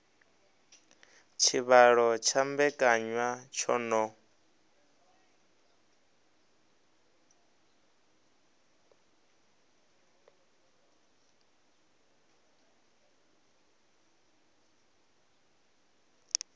tshivhalo tsha mbekanya tsho no